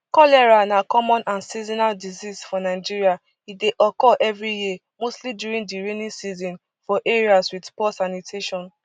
cholera na common and seasonal disease for nigeria e dey occur evri year mostly during di rainy season for areas wit poor sanitation